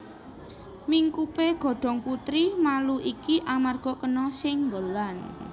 Mingkupé godhong putri malu iki amarga kena sénggolan